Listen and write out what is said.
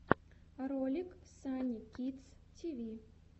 ролик санни кидс ти ви